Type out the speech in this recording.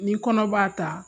Ni kɔnɔ b'a ta